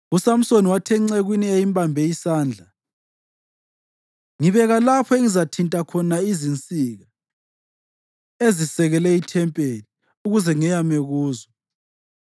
uSamsoni wathi encekwini eyayimbambe isandla, “Ngibeka lapho engizathinta khona izinsika ezisekele ithempeli, ukuze ngeyame kuzo.”